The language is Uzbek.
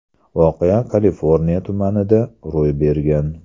Voqea Kaliforniya tumanida ro‘y bergan.